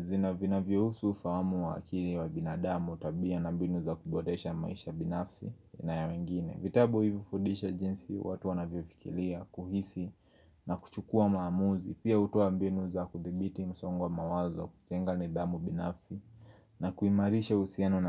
zina vinavyohusu fahamu wa akili wa binadamu tabia na mbinu za kuboresha maisha binafsi na ya wengine vitabu hivi hufundisha jinsi watu wanavyofikiria kuhisi na kuchukua maamuzi pia hutoa mbinu za kuthibiti msongo wa mawazo kujenga nidhamu binafsi na kuimarisha uhusiano na.